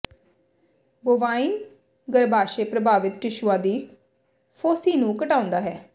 bovine ਗਰੱਭਾਸ਼ਯ ਪ੍ਰਭਾਵਿਤ ਟਿਸ਼ੂਆਂ ਦੀ ਫੋਸੀ ਨੂੰ ਘਟਾਉਂਦਾ ਹੈ